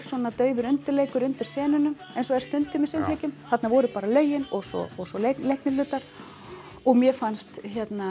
svona dauður undirleikur undir eins og er stundum í söngleikjum þarna voru bara lögin og svo og svo leiknir hlutar og mér fannst